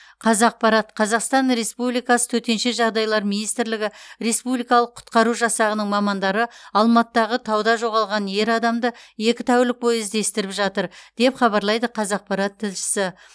қазақпарат қазақстан республикасы төтенше жағдайлар министрлігі республикалық құтқару жасағының мамандары алматыдағы тауда жоғалған ер адамды екі тәулік бойы іздестіріп жатыр деп хабарлайды қазақпарат тілшісі